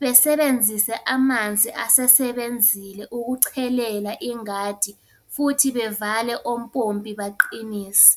besebenzise amanzi asesebenzile ukuchelela ingadi, futhi bevale ompompi baqinise.